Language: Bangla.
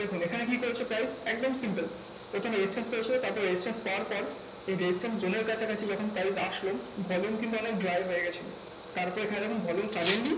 দেখুন এখানে কি করেছে price? একদম simple প্রথমে resistance পেয়েছে তারপরে resistance পাওয়ার পর resistance zone এর কাছাকাছি যখন price আসলো volume কিন্তু অনেক dry হয়ে গেছিলো। তারপর এখানে দেখুন volume suddenly